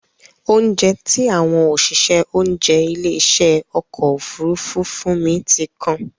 Óunjẹ tí àwọn òṣìṣẹ́ oúnjẹ ilé ìṣe ọkọ̀ Òfurufú fún mi ti kan.